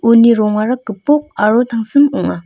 uni rongara gipok aro tangsim ong·a.